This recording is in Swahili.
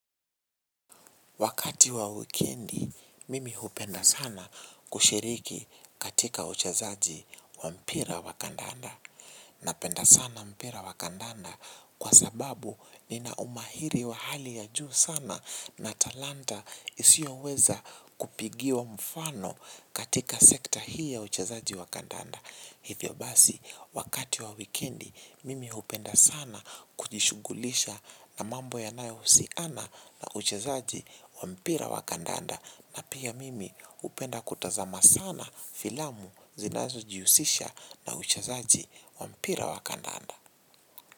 Wakati wa wikendi, mimi hupenda sana kushiriki katika uchezaji wa mpira wa kandanda. Napenda sana mpira wa kandanda kwa sababu nina umahiri wa hali ya juu sana na talanta isio weza kupigiwa mfano katika sekta hii ya uchezaji wa kandanda. Hivyo basi wakati wa wikendi mimi hupenda sana kujishughulisha na mambo yanayohusiana na uchezaji wa mpira wa kandanda. Na pia mimi hupenda kutazama sana filamu zinazojihusisha na uchezaji wa mpira wa kandanda.